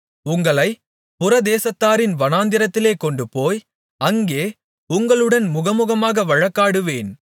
உங்களைப் புறதேசத்தாரின் வனாந்திரத்திலே கொண்டுபோய் அங்கே உங்களுடன் முகமுகமாக வழக்காடுவேன்